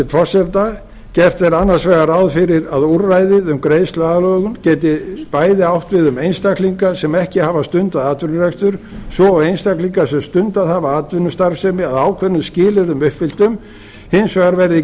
hæstvirts forseta gert er annars vegar ráð fyrir að úrræðið um greiðsluaðlögun geti bæði átt við um einstaklinga sem ekki hafa stundað atvinnurekstur svo og einstaklinga sem hafa stundað atvinnustarfsemi að ákveðnum skilyrðum uppfylltum hins vegar verði